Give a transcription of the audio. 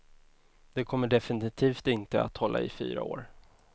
Det kommer definitivt inte att hålla i fyra år.